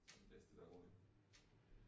Så det bedst at være hurtig